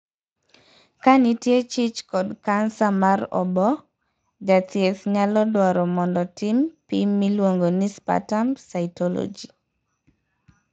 Ka nitie chich kod kansa mar oboo, jathieth nyalo dwaro mondo tim pim miluongo ni 'sputum cytology'.